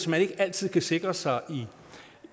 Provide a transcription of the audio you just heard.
man ikke altid kan sikre sig